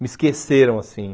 Me esqueceram, assim.